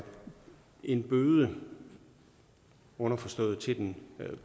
en bøde underforstået til